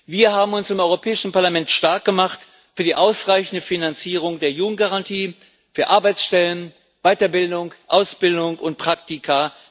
Wir haben uns im Europäischen Parlament stark gemacht für die ausreichende Finanzierung der Jugendgarantie, für Arbeitsstellen, Weiterbildung, Ausbildung und Praktika.